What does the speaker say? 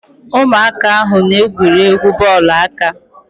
Ụmụaka ahụ na- egwuri egwu bọọlụ aka.